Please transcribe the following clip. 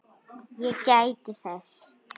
Ég gæti þess.